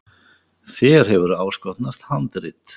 Þér hefur áskotnast handrit.